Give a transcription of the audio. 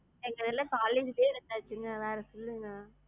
எங்க இதெல்லாம் college லையே இருந்தாச்சுங்க வேற சொல்லுங்க.